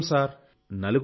మేం నలుగురం సార్